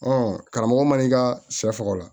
karamɔgɔ man n'i ka sɛ faga